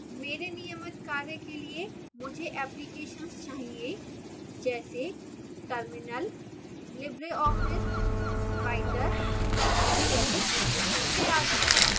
मेरे नियमित कार्य के लिए मुझे applications चाहिए जैसे terminal libreoffice writer gedit इत्यादि